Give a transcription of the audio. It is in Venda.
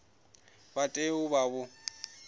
vha tea u vha vho